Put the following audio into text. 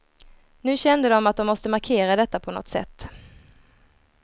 Nu kände de att de måste markera detta på något sätt.